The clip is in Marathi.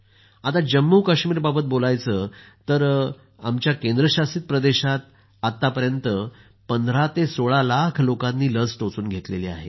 आणि जम्मू आणि काश्मीरबाबत बोलायचं तर आमच्या केंद्रशासित प्रदेशात आतापर्यंत 15 ते 16 लाख लोकांनी लस घेतली आहे